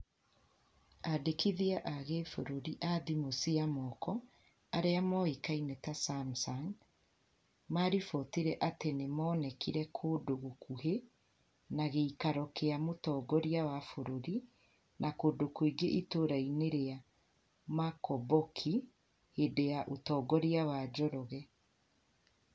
Andĩkithia a gĩbũrũri athimũ cia moko arĩa moĩkaine ta "samsung" maribotire atĩ nĩ monekire kũndũ gũkuhĩ na gĩikaro kĩa mũtongoria wa bũrũri na kũndũ kũngi itũra-inĩ ria Makomboki hĩndĩ ya ũtongoria wa Njoroge